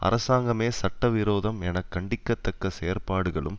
அரசாங்கமே சட்டவிரோதம் என கண்டிக்கத்தக்க செயற்பாடுகளும்